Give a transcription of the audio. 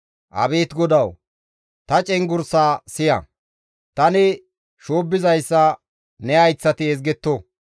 Abeet Godawu! Ta cenggurssa siya; tani shoobbizayssa ne hayththati ezgetto.